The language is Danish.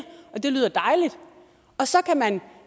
og det lyder dejligt og så kan man